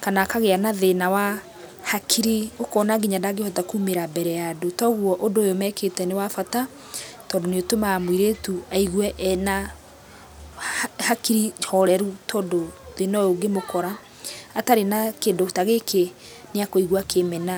kana akagĩa na thĩna wa hakiri ũkona nginya ndangĩhota kũmĩra mbere ya andũ kwoguo ũndũ wekĩte nĩ wa bata tondũ nĩũtũmaga mũirĩtu aigũe ena hakiri horeru ũndũ thĩna ũyũ ũngĩmĩkora atarĩ na kĩndũ ta gĩkĩ nĩekũigua akĩmena.